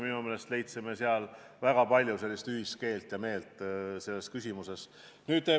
Minu meelest me leidsime seal väga palju ühist keelt ja meelt selles küsimuses.